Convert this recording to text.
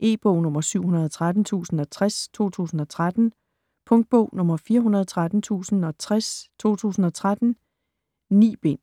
E-bog 713060 2013. Punktbog 413060 2013. 9 bind.